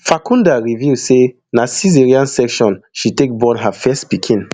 farkhunda reveal say na caesarean section she take born her first pikin